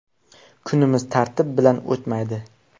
Kunimiz tartib bilan o‘tmaydi.